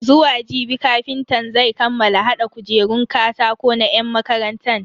Zuwa jibi kafintan zan kammala hada kujerun katako na yan makarantan.